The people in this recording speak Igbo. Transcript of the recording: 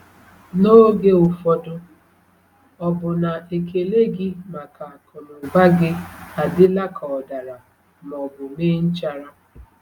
N’oge ụfọdụ, ọ̀ bụ na ekele gị maka akụnụba gị adịla ka ọ dara ma ọ bụ mee nchara?